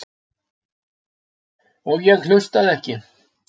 Og ég hlustaði ekki.